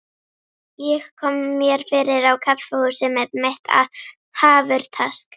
Ég kom mér fyrir á kaffihúsi með mitt hafurtask.